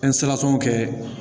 kɛ